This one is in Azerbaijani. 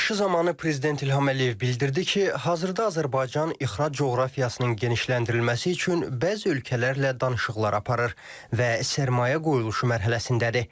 Çıxışı zamanı prezident İlham Əliyev bildirdi ki, hazırda Azərbaycan ixrac coğrafiyasının genişləndirilməsi üçün bəzi ölkələrlə danışıqlar aparır və sərmayə qoyuluşu mərhələsindədir.